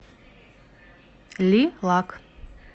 ли лак